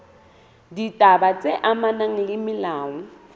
ditaba tse amanang le molao